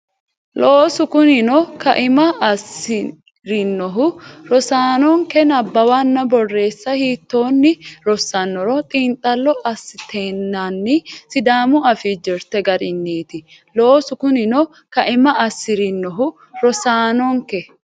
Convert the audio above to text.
Loosu kunino kaima assi rinohu rosaanonke nabbawanna borreessa hiittoonni rossannoro xiinxallo assatenninna Sidaamu Afii jirte garinniiti Loosu kunino kaima assi rinohu rosaanonke.